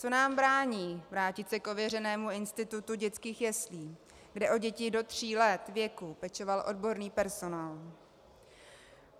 Co nám brání vrátit se k ověřenému institutu dětských jeslí, kde o děti do tří let věku pečoval odborný personál?